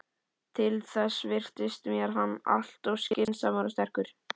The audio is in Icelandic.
Til þess virtist mér hann alltof skynsamur og sterkur.